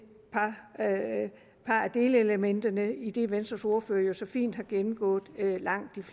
par delelementer idet venstres ordfører jo så fint har gennemgået langt det